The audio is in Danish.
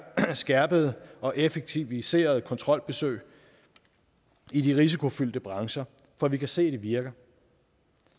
skærpede og effektiviserede kontrolbesøg i de risikofyldte brancher for at vi kan se at det virker